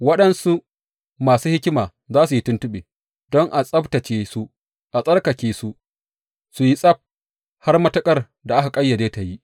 Waɗansu masu hikima za su yi tuntuɓe, don a tsabtacce su, a tsarkake su, su yi tsab, har matuƙar da aka ƙayyade ta yi.